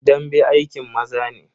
Dambe aikin maza ne.